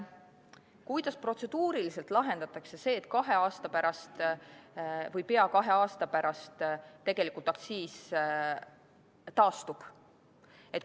Kuidas protseduuriliselt lahendatakse see, et kahe aasta pärast või pea kahe aasta pärast tegelikult aktsiis taastub?